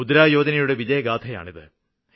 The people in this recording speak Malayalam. മുദ്ര യോജനയുടെ വിജയഗാഥയാണിത്